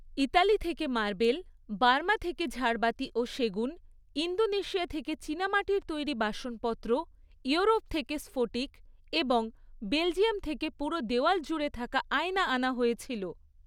Italy থেকে marble, Burma থেকে ঝাড়বাতি ও সেগুন, ইন্দোনেশিয়া থেকে চীনামাটির তৈরি বাসনপত্র, ইউরোপ থেকে স্ফটিক এবং বেলজিয়াম থেকে পুরো দেওয়াল জুড়ে থাকা আয়না আনা হয়েছিল।